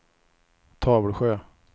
Tavelsjö